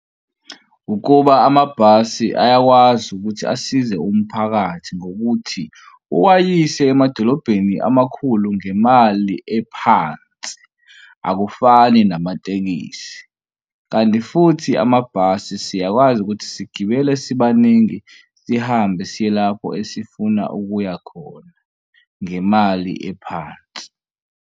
Ukuba amabhasi ayakwazi ukuthi asize umphakathi ngokuthi uwayise emadolobheni amakhulu ngemali ephansi, akufani nama amatekisi. Kanti futhi amabhasi siyakwazi ukuthi sigibele sibaningi sihambe siye lapho esifuna ukuya khona ngemali ephansi.